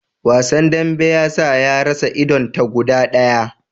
Wasan dambe ya sa ya rasa idon ta guda daya